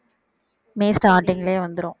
மே starting லயே வந்துரும்